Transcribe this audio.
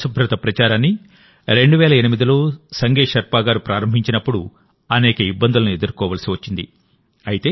ఈ పరిశుభ్రత ప్రచారాన్ని 2008లో సంగే షెర్పా గారు ప్రారంభించినప్పుడు అనేక ఇబ్బందులను ఎదుర్కోవలసి వచ్చింది